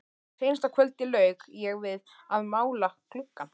Seinasta kvöldið lauk ég við að mála gluggann.